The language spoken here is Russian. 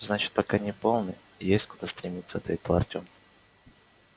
значит пока не полный есть куда стремиться ответил артем